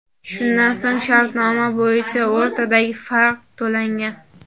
Shundan so‘ng shartnoma bo‘yicha o‘rtadagi farq to‘langan.